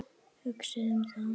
Hugsið um það.